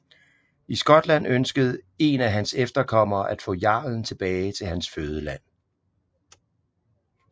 I Skotland ønskede en af hans efterkommere at få jarlen tilbage til hans fødeland